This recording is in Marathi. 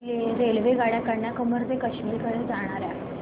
रेल्वेगाड्या कन्याकुमारी ते काश्मीर कडे जाणाऱ्या